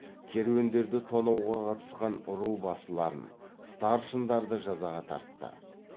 керуендерді тонауға қатысқан ру басыларын старшындарды жазаға тартты